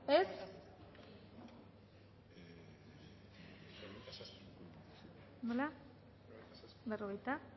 dezakegu bozketaren emaitza onako izan da hirurogeita